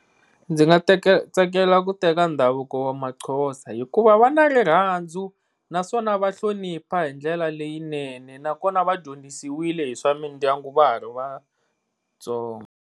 Ndzi nga teka tsakela ku teka ndhavuko wa maXhosa hikuva va na rirhandzu naswona va hlonipha hi ndlela leyinene naswona vadyondzisiwile hi swa mindyangu va ha ri vatsongo.